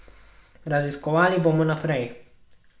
Raziskovali bomo naprej.